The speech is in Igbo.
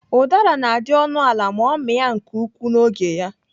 Ụdara na-adị ọnụ ala ma ọ mịa nke ukwuu n'oge ya.